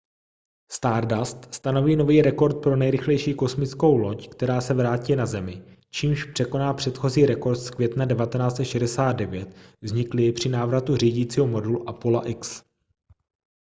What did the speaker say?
stardust stanoví nový rekord pro nejrychlejší kosmickou loď která se vrátí na zemi čímž překoná předchozí rekord z května 1969 vzniklý při návratu řídícího modulu apolla x